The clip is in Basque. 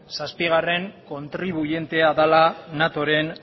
zazpigarren kontribuientea dela natoren